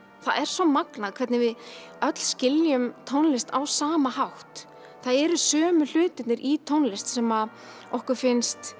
það er svo magnað hvernig við öll skiljum tónlist á sama hátt það eru sömu hlutirnir í tónlist sem okkur finnst